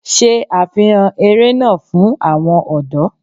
Ṣe àfihàn eré náà fún àwọn ọ̀dọ́